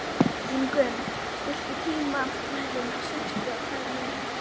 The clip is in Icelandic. Ingunn, stilltu tímamælinn á sextíu og tvær mínútur.